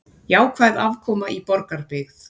Jákvæð afkoma í Borgarbyggð